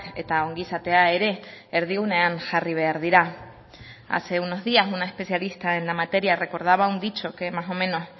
eta ongizatea ere erdigunean jarri behar dira hace unos días una especialista en la materia recordaba un dicho que más o menos